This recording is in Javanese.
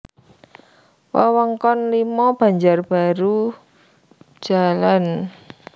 Wewengkon V Banjarbaru Jl